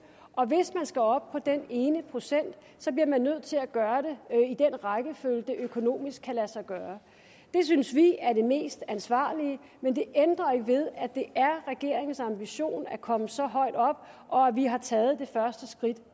og hvis man skal op på den ene procent bliver man nødt til at gøre det i den rækkefølge det økonomisk kan lade sig gøre det synes vi er det mest ansvarlige men det ændrer ikke ved at det er regeringens ambition at komme så højt op og at vi har taget det første skridt